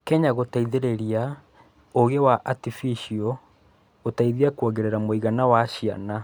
Kenya gũteithĩrĩria Ũgĩ wa Atificio gũteithia kwongerera mũigana wa ciana.